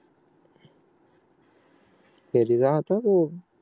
घरी जा आता तू